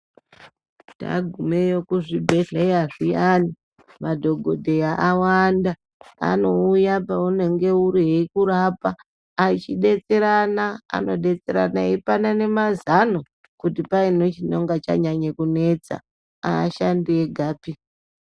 Tagumeyo kuzvibhedhleya zviyani madhokodheya awanda anouye paunenge uri eikurapa echidetserana, anodetserana achipanana mazano kuti paine chinonga chanyanya kunetsa aashandi egapi.